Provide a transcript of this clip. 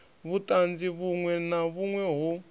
vhutanzi vhunwe na vhunwe ho